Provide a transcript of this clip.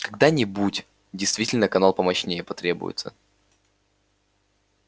когда-нибудь действительно канал помощнее потребуется